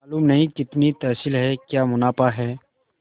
मालूम नहीं कितनी तहसील है क्या मुनाफा है